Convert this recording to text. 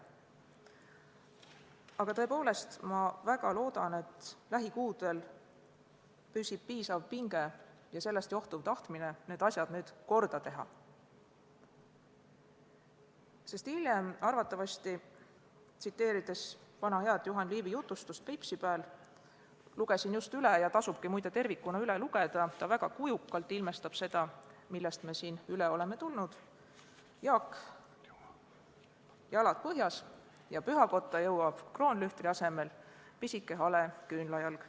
Aga tõepoolest, ma väga loodan, et lähikuudel püsib piisav pinge ja sellest johtuv tahtmine need asjad kohe korda teha, sest hiljem arvatavasti, tsiteerides vana head Juhan Liivi jutustust "Peipsi pääl" – lugesin just üle, ja tasubki tervikuna üle lugeda, see ilmestab väga kujukalt seda, millest me siin läbi oleme tulnud –, kostab: "Jaak, jalad põhjas!" ja pühakotta jõuab kroonlühtri asemel pisike hale küünlajalg.